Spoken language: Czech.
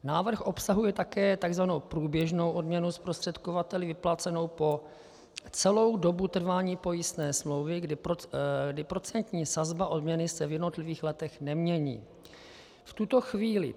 Návrh obsahuje také tzv. průběžnou odměnu zprostředkovateli vyplácenou po celou dobu trvání pojistné smlouvy, kdy procentní sazba odměny se v jednotlivých letech nemění.